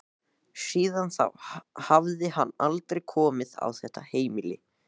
Síðan þá hafði hann aldrei komið á þetta heimili.